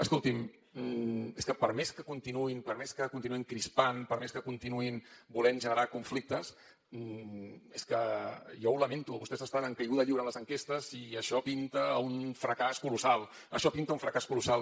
escolti’m és que per més que continuïn crispant per més que continuïn volent generar conflictes és que jo ho lamento vostès estan en caiguda lliure en les enquestes i això pinta a un fracàs colossal això pinta a un fracàs colossal